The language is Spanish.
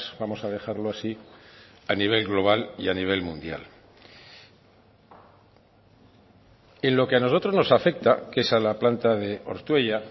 vamos a dejarlo así a nivel global y a nivel mundial en lo que a nosotros nos afecta que es a la planta de ortuella